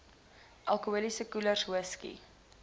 alkoholiese koelers whisky